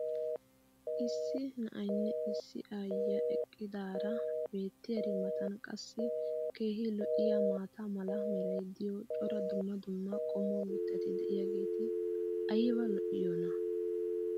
issi na"aynne issi aayiyaa eqqidaara beetiyaari matan qassi keehi lo'iyaa maata mala meray diyo cora dumma dumma qommo mitati diyaageti ayba lo'iyoonaa?